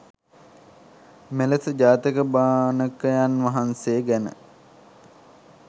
මෙලෙස ජාතක භාණකයන් වහන්සේ ගැන